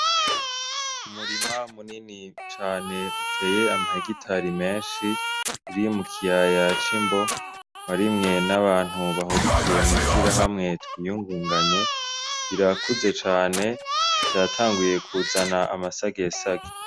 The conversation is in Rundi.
Umurima munini cane uteye ama hegitare menshi uri mu kiyaya c'imbo warimwe n' abantu bahurikiye mw'ishirahamwe TWIYUNGUNGANYE rirakuze cane vyatanguye kuzana amasagesage.